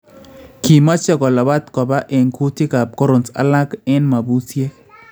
Kimaache kolabaat koba en kyutikaab corons alaak eng mabusyeek